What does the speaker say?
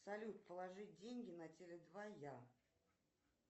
салют положить деньги на теле два я